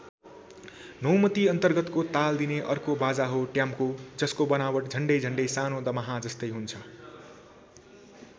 नौमति अन्तर्गतको ताल दिने अर्को बाजा हो ट्याम्को जसको बनावट झण्डै झण्डै सानो दमाहाजस्तै हुन्छ।